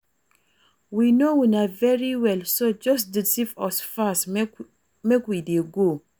We no una very well so just deceive us fast make we dey go